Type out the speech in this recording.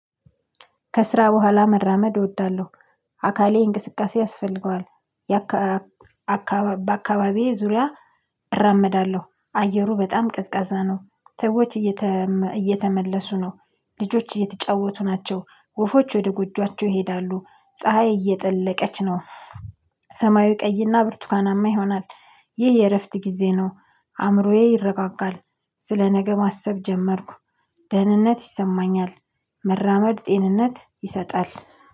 ከስራ በኋላ መራመድ እወዳለሁ አካሌ እንቅስቃሴ ያስፈልገዋል። በአካባቢዬ ዙሪያ እራምዳለሁ አየሩ በጣም ቅዝቃዛ ነው። ሰዎች እየተመለሱ ነው። ልጆች እየተጫወቱ ናቸው። ወፎች ወደ ጎጆአቸው ይሄዳሉ። ፀሀይ እየጠለቀች ነው። ሰማያዊ ቀይና ብርቱካናማ ይሆናል። ይህ የእረፍት ጊዜ ነው። አእምሮዬ ይረጋጋል። ስለ ነገ ማሰብ ጀመርኩ። ደህንነት ይሰማኛል። መራመድ ጤንነት ይሰጣል።